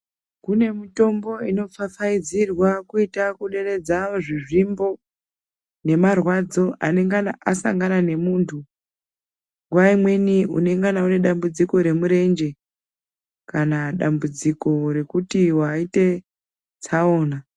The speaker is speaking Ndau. Kune mitombo inoita kupfapfaidzirwa kuitira kuderedza zvizvimbo nemarwadzo anongana asangana nemuntu, nguwa imweni unongana une dambudziko remurenje kana dambudziko rekuti waite tsaona.